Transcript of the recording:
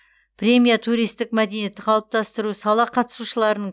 премия туристік мәдениетті қалыптастыру сала қатысушыларын